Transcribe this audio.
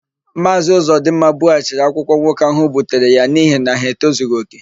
Maazị Ụzọdịmma bughachiri akwụkwọ nwoke ahụ butere ya n'ihi na ha etozughị òkè.